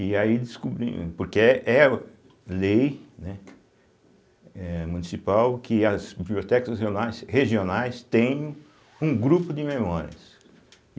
E aí descobrimos, porque é é lei, né, é municipal, que as bibliotecas regionais tenham um grupo de memórias.